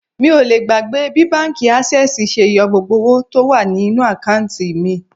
Mi ò lè gbàgbé bí báńkì Ásẹ́sìì ṣe yọ gbogbo owó mi tó wà ní inú àkántì mi.